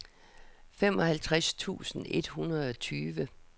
femoghalvtreds tusind et hundrede og tyve